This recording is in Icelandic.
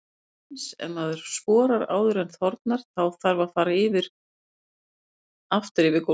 Eins ef maður sporar áður en þornar, þá þarf að fara aftur yfir gólfið.